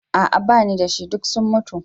A'a bani dashi, duk sun mutu.